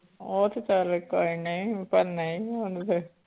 ਉਹ ਤੇ ਚੱਲ ਕੋਈ ਨੀ ਪਰ ਨਹੀਂ ਹੁਣ ਤੇ